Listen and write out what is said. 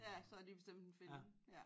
Ja så har de bestemt en film ja